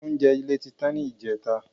Oúnjẹ ilé tí tán ni ìjẹta